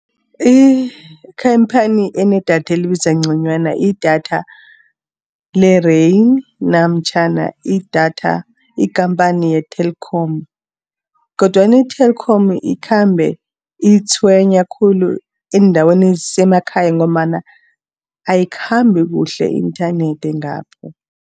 Ikhamphani enedatha elibiza ngconywana, idatha le-Rain namtjhana idatha ikhamphani ye-Telkom. Kodwana i-Telkom ikhambe itshwenya khulu eendaweni ezisemakhaya ngombana ayikhambi kuhle inthanethi ngapho.